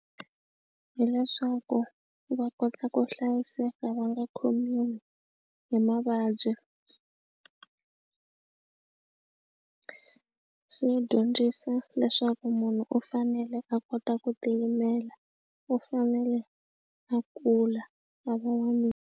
Hileswaku va kota ku hlayiseka va nga khomiwi hi mavabyi swi dyondzisa leswaku munhu u fanele a kota ku tiyimela u fanele a kula a va n'wanuna.